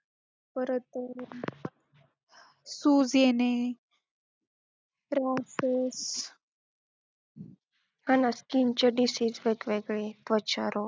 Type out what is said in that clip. परत सूज येणे, आणि skin चे diseases वेगवेगळे, त्वचारोग